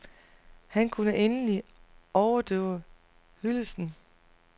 Han kunne endelig overdøve hyldesten.